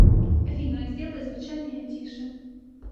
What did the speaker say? афина сделай звучание тише